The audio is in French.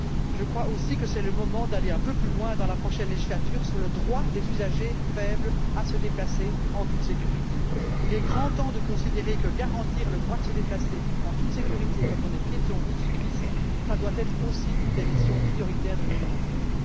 Je crois aussi que c'est le moment d'aller un peu plus loin, dans la prochaine législature, sur le droit des usagers faibles à se déplacer en toute sécurité. Il est grand temps de considérer que le fait de garantir le droit de se déplacer en toute sécurité quand on est piéton ou cycliste, doit également constituer l'une des missions prioritaires de l'Union européenne.